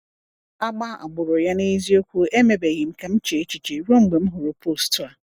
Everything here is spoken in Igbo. Agba agbụrụ ya n’eziokwu emebeghị ka m chee echiche ruo mgbe m hụrụ post a.